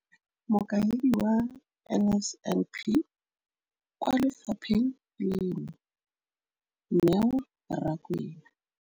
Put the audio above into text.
Mokaedi wa NSNP kwa lefapheng leno, Neo Rakwena.